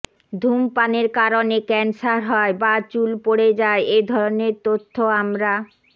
ধুমপানের কারণে ক্যান্সার হয় বা চুল পড়ে যায় এধরনের তথ্য আমরা